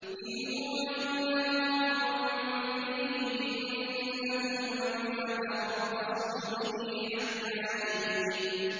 إِنْ هُوَ إِلَّا رَجُلٌ بِهِ جِنَّةٌ فَتَرَبَّصُوا بِهِ حَتَّىٰ حِينٍ